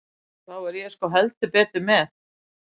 Þá er ég sko heldur betur með.